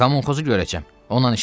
Kommunxozu görəcəm, onunla işim var.